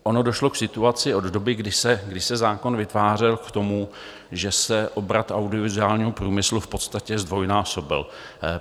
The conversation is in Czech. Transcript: Ono došlo k situaci od doby, kdy se zákon vytvářel, k tomu, že se obrat audiovizuálního průmyslu v podstatě zdvojnásobil.